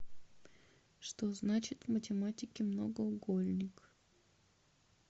что значит в математике многоугольник